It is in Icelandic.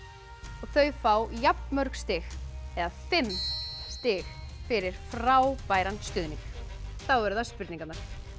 og þau fá jafnmörg stig eða fimm stig fyrir frábæran stuðning þá eru það spurningarnar